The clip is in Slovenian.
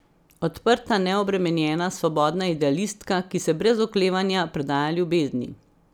Odprta, neobremenjena, svobodna idealistka, ki se brez oklevanja predaja ljubezni.